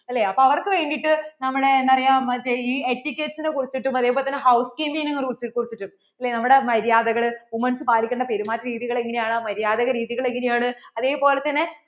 അല്ലേ അപ്പോൾ അവർക്കു വേണ്ടിട്ട് നമ്മളെ എന്താ പറയാ മറ്റേ ഈ ethicates കുറിച്ചിട്ടും നെ കുറിച്ചിട്ടും ഇല്ലേ നമ്മടെ മര്യാദകൾ women's പാലിക്കേണ്ട പെരുമാറ്റ രീതികൾ എന്താണ് എങ്ങനെ ആണ് മര്യാദ രീതികൾ എങ്ങനെയെയാണ് അതേപോലെ തന്നെ